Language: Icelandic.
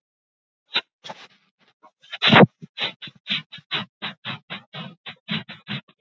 Hefur þar fullt hús af jólagestum.